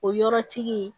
O yɔrɔtigi